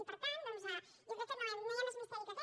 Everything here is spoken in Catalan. i per tant doncs jo crec que no hi ha més misteri que aquest